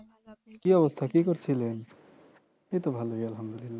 কি অবস্থা কি করছিলেন এইতো ভালোই আলহামদুলিল্লাহ